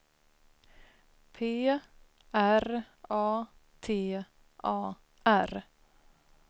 P R A T A R